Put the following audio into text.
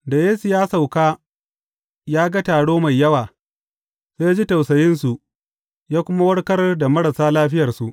Da Yesu ya sauka ya kuma ga taro mai yawa, sai ya ji tausayinsu ya kuma warkar da marasa lafiyarsu.